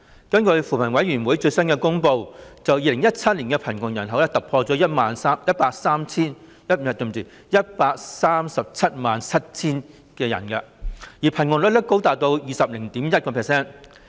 根據扶貧委員會最新公布的資料 ，2017 年的貧窮人口突破 1,377 000人，貧窮率高達 20.1%。